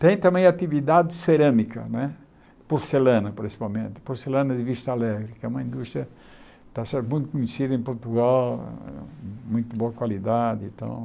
Tem também a atividade cerâmica não é, porcelana principalmente, porcelana de vista alegre, que é uma indústria que está sendo muito conhecida em Portugal, muito boa qualidade e tal.